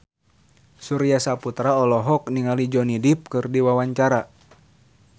Surya Saputra olohok ningali Johnny Depp keur diwawancara